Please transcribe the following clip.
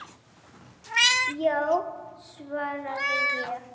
Já, svaraði ég.